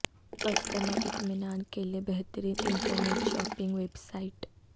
customer اطمینان کے لئے بہترین انٹرنیٹ شاپنگ ویب سائٹ